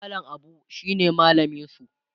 mallam Abu shine mallaminsu